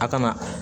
A kana